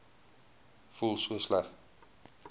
voel so sleg